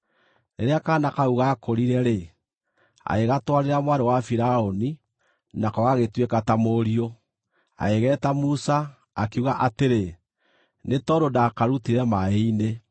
Rĩrĩa kaana kau gaakũrire-rĩ, agĩgatwarĩra mwarĩ wa Firaũni nako gagĩtuĩka ta mũriũ. Agĩgeeta Musa, akiuga atĩrĩ, “Nĩ tondũ ndakarutire maaĩ-inĩ.”